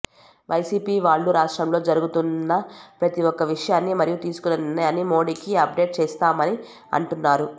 YCP వాళ్ళు రాష్ట్రంలో జరుగుతున్న ప్రతి ఒక్క విషయాన్ని మరియు తీసుకున్న నిర్ణయాన్ని మోడీకి అప్ డేట్ చేస్తున్నామని అంటున్నారు